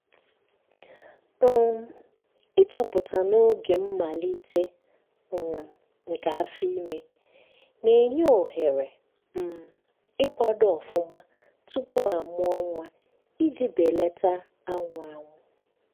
um ichoọpụta n’oge mmalite um nke afọime na- enye ohere um ikwado ọfụma tụpụ a mụọ nwaiji belata anwụ anwụ